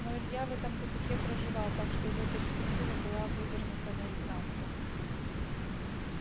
но илья в этом тупике проживал так что его перспектива была вывернута наизнанку